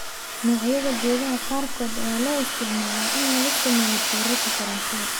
Noocyada geedaha qaarkood ayaa loo isticmaalaa in laga sameeyo tiirarka korontada.